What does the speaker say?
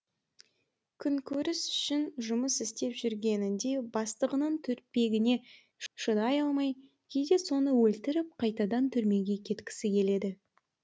күнкөріс үшін жұмыс істеп жүргенінде бастығының түрпегіне шыдай алмай кейде соны өлтіріп қайтадан түрмеге кеткісі келеді